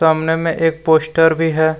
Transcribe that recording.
सामने में एक पोस्टर भी है।